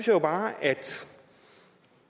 jo bare at